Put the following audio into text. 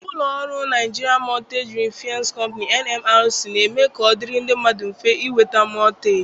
Ụlọ ọrụ Nigerian Mortgage Refinance Company (NMRC) na-eme ka ọ dịrị ndị mmadụ mfe ịnweta mọtgeeji.